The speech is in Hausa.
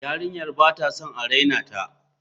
Yarinyar ba ta son a raina ta.